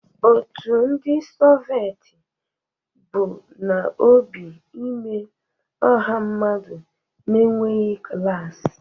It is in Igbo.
Otu ndị Soveti bu n'obi imee ọha mmadụ na-enweghị klas.